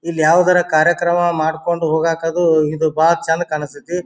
ಇಲ್ಲಿ ಯಾವುದರ ಕಾರ್ಯಕ್ರಮ ಮಾಡಕೊಂಡ್ ಹೋಗಕ್ ಅದು ಇದು ಬಾಳ್ ಚಂದ ಕಾಣ್ ಸ್ತತಿ.